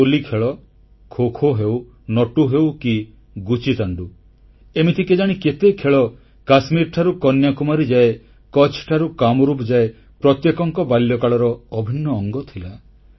ଗୋଲି ଖେଳ ଖୋ ଖୋ ହେଉ ନଟୁ ହେଉ କି ଗୁଚିତାଣ୍ଡୁ ଏମିତି କେଜାଣି କେତେ ଖେଳ କାଶ୍ମୀରଠାରୁ କନ୍ୟାକୁମାରୀ ଯାଏ କଚ୍ଛଠାରୁ କାମରୁପ ଯାଏ ପ୍ରତ୍ୟେକଙ୍କ ବାଲ୍ୟକାଳର ଅଭିନ୍ନ ଅଙ୍ଗ ଥିଲା